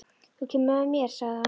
Þú kemur með mér, sagði hann.